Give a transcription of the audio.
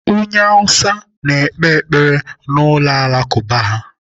Onye Hausa na-ekpe ekpere n'ụlọ Alakụba ha.